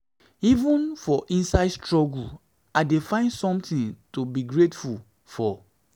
even for inside struggle i dey find something to be grateful to be grateful for